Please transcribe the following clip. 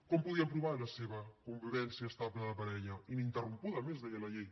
com podien provar la seva convivència estable de parella ininterrompuda a més deia la llei